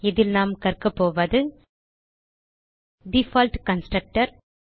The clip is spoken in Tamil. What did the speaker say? இதில் நாம் கற்கக்போவது டிஃபால்ட் கன்ஸ்ட்ரக்டர்